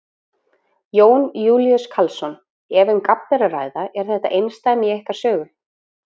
Jón Júlíus Karlsson: Ef um gabb er að ræða, er þetta einsdæmi í ykkar sögu?